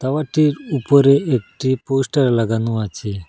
খাবারটির উপরে একটি পোস্টার লাগানো আছে।